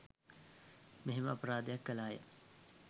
මෙහෙම අපරාධයක් කළ අය